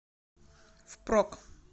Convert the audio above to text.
впрок